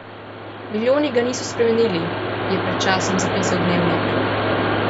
Milijoni ga niso spremenili, je pred časom zapisal Dnevnik.